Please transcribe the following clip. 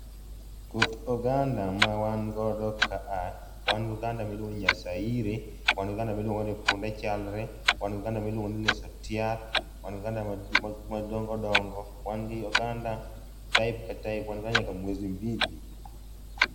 Koth oganda ma wan godo kaa, wan gi oganda miluongo ni nya saire, wan gi oganda miluongo ni Punde chalre, wan gi oganda miluongo ni leso tiat, wan gi oganda madongodongo, wan gi oganda type ka type wan go nyaka mwezi mbili.